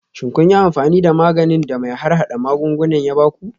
Shin kun yi amfani da maganin da mai harhada magunguna ya ba ku?